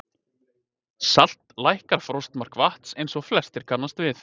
Salt lækkar frostmark vatns eins og flestir kannast við.